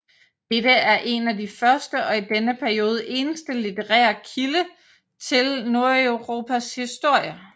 Dette er en af de første og i denne periode eneste litterære kilde til Nordeuropas historie